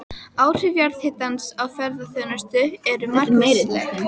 Áhrif jarðhitans á ferðaþjónustu eru margvísleg.